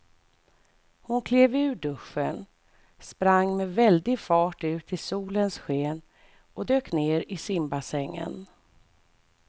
Hon klev ur duschen, sprang med väldig fart ut i solens sken och dök ner i simbassängen.